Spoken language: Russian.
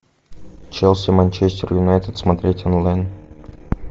челси манчестер юнайтед смотреть онлайн